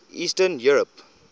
eastern europe